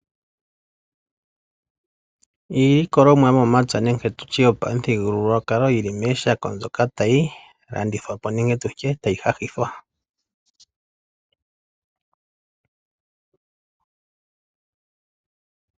Iilikolomwa yo momapya nenge tutye yopamuthigululwapo yili mooshako tayi landithwa po nenge tutye tayi hahithwa.